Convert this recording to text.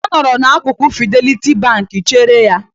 Ọ nọrọ n'akụkụ Fideliti Bank chere ya.